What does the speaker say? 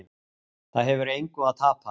Það hefur engu að tapa